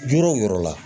Yɔrɔ o yɔrɔ la